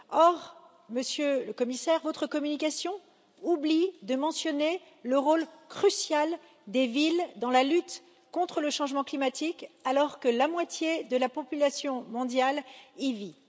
Or, Monsieur le Commissaire, votre communication oublie de mentionner le rôle crucial des villes dans la lutte contre le changement climatique, alors que la moitié de la population mondiale y vit.